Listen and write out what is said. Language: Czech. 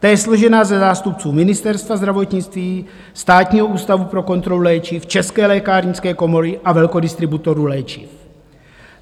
Ta je složena ze zástupců Ministerstva zdravotnictví, Státního ústavu pro kontrolu léčiv, České lékárnické komory a velkodistributorů léčiv.